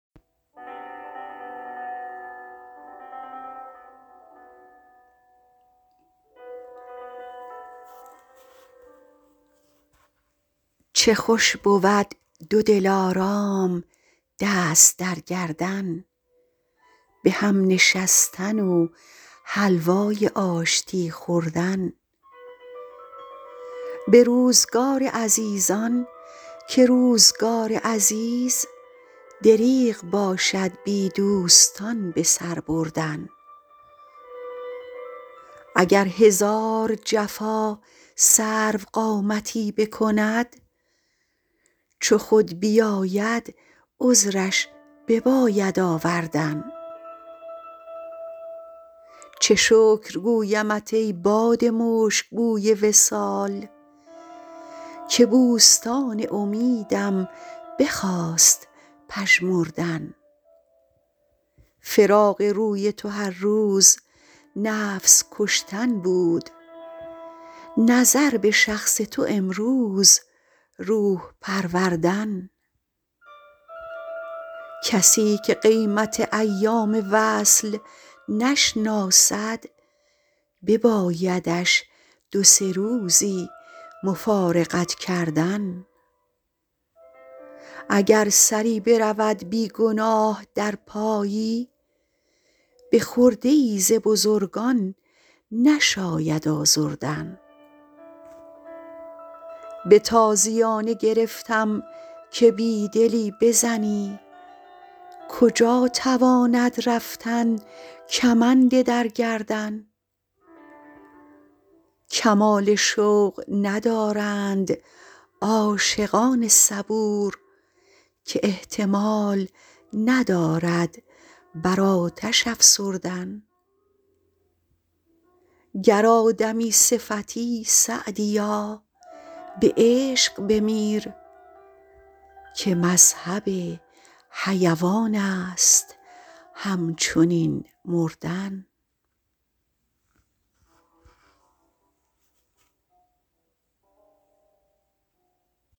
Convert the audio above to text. چه خوش بود دو دلارام دست در گردن به هم نشستن و حلوای آشتی خوردن به روزگار عزیزان که روزگار عزیز دریغ باشد بی دوستان به سر بردن اگر هزار جفا سروقامتی بکند چو خود بیاید عذرش بباید آوردن چه شکر گویمت ای باد مشک بوی وصال که بوستان امیدم بخواست پژمردن فراق روی تو هر روز نفس کشتن بود نظر به شخص تو امروز روح پروردن کسی که قیمت ایام وصل نشناسد ببایدش دو سه روزی مفارقت کردن اگر سری برود بی گناه در پایی به خرده ای ز بزرگان نشاید آزردن به تازیانه گرفتم که بی دلی بزنی کجا تواند رفتن کمند در گردن کمال شوق ندارند عاشقان صبور که احتمال ندارد بر آتش افسردن گر آدمی صفتی سعدیا به عشق بمیر که مذهب حیوان است همچنین مردن